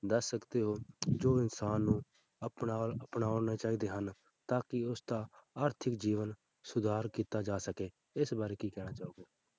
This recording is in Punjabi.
ਦੱਸ ਸਕਦੇ ਹੋ ਜੋ ਇਨਸਾਨ ਨੂੰ ਅਪਣਾਉਣ ਅਪਣਾਉਣਾ ਚਾਹੀਦੇ ਹਨ ਤਾਂ ਕਿ ਉਸਦਾ ਹੱਥੀ ਜੀਵਨ ਸੁਧਾਰ ਕੀਤਾ ਜਾ ਸਕੇ ਇਸ ਬਾਰੇ ਕੀ ਕਹਿਣਾ ਚਾਹੋਗੇ?